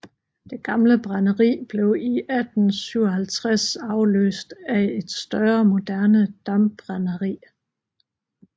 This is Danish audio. Det gamle brænderi blev i 1857 afløst af et større moderne dampbrænderi